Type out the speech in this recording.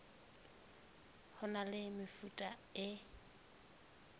ho na le mefuta e